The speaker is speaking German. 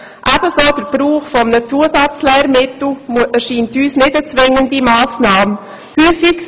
Ebenso scheint uns der Gebrauch eines Zusatzlehrmittels keine zwingende Massnahme zu sein.